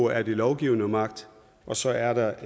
er den lovgivende magt og så er der